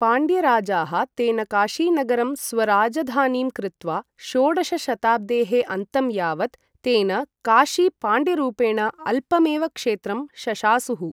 पाण्ड्य राजाः तेनकाशीनगरं स्वराजधानीम् कृत्वा, षोडश शताब्देः अन्तं यावत् तेनकाशी पाण्ड्यरूपेण अल्पम् एव क्षेत्रं शशासुः।